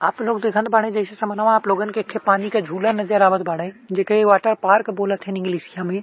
आप लोग देखत बाड़ें जइसे समानवा आप लोगन के एखे पानी क झूला नजर आवत बाड़े जेके वाटर पार्क बोलथईन् इंगलिसीया में।